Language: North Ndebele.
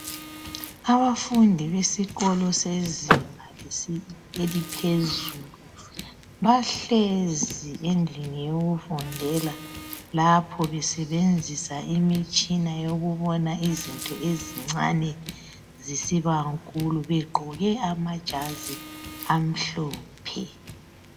Abafundi besikolo sezinga eliphezulu bahlezi endlini yokufundela lapho besebenzisa imitshina yokubona izinto ezincane zisiba nkulu begqoke amajazi amhlophe.